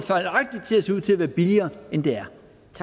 til at se ud til at være billigere end det er